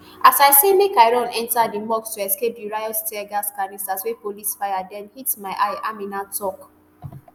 as i say make i run enta di mosque to escape di riot teargas canister wey police fire den hit my eye aminat tok